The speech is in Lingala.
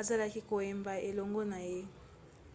azalaki koyemba elongo na ye